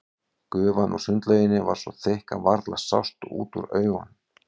Gufan úr sundlauginni var svo þykk að varla sást út úr augum.